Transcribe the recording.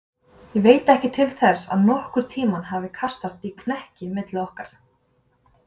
Ég veit ekki til þess, að nokkurn tíma hafi kastast í kekki milli okkar.